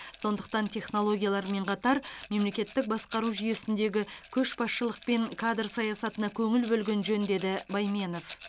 сондықтан технологиялармен қатар мемлекеттік басқару жүйесіндегі көшбасшылық пен кадр саясатына көңіл бөлген жөн деді байменов